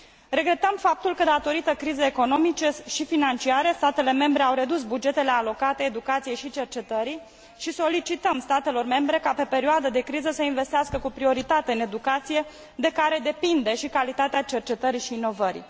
Regretăm faptul că datorită crizei economice și financiare statele membre au redus bugetele alocate educației și cercetării și solicităm statelor membre ca pe perioadă de criză să investească cu prioritate în educație de care depinde și calitatea cercetării și inovării.